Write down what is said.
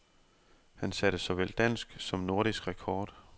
Han satte såvel dansk som nordisk rekord.